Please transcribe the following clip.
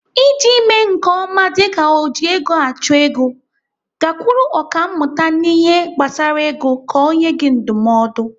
Iji mee nke ọma dịka ojiegoachụego, gakwuru ọkàmmụta n'ihe gbasara ego ka ọ nyee gị ndụmọdụ.